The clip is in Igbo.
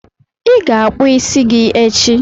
ị ga-akpụ isi gị echi!